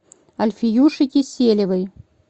альфиюше киселевой